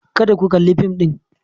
Kada ku kalli fim din.